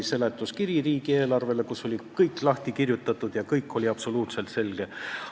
Teine oli riigieelarve seletuskiri, kus oli kõik lahti kirjutatud: kõik oli absoluutselt selge.